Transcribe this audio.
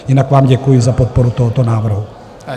Jinak vám děkuji za podporu tohoto návrhu.